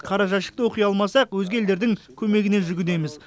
қара жәшікті оқи алмасақ өзге елдердің көмегіне жүгінеміз